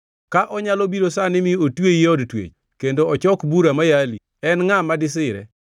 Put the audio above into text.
“Ka onyalo biro sani mi otweyi e od twech kendo ochok bura mayali, en ngʼa ma disire?